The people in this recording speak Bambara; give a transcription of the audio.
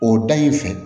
O da in fɛ